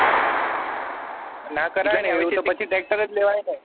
ના કરાય ને આવું તો પછી તો tractor જ લેવાય ને